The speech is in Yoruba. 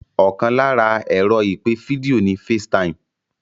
Ọkàn lára ẹ̀rọ ìpè fídíò ni FaceTime